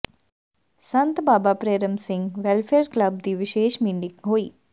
ਸੰਤ Baba Prem Singh welfare club ਦੀ ਵਿਸ਼ੇਸ meeting ਹੋਈ